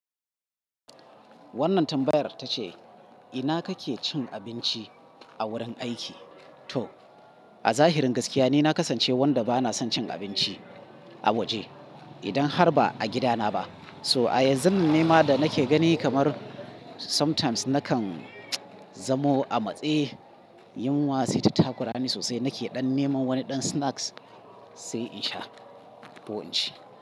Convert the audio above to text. Wannan tambayar ta ce, "ina kake cin abinci a wurin aiki?" To, a zahirin gaskiya, ni na kasance wanda ba na son cin abinci a waje idan har ba a gidana ba. So a yanzu, nema da nake gani kamar sometimes nakan zamo a matse, yin wasu taku rani sosai. Nake dan neman wani dan snacks sai in sha ki in ci.